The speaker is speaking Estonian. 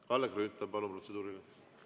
Kalle Grünthal, palun, protseduuriline!